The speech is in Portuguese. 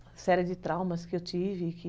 Uma série de traumas que eu tive, que...